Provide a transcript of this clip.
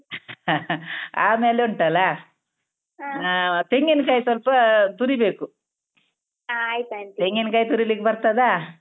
ಆಮೇಲುಂಟಲ್ಲ ತೆಂಗಿನ್ಕಾಯ್ ಸ್ವಲ್ಪಾ ತುರಿಬೇಕು ತೆಂಗಿನ್ಕಾಯ್ ತುರಿಲಿಕ್ಬರ್ತದಾ?